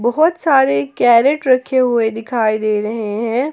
बहुत सारे कैरेट रखे हुए दिखाई दे रहे हैं।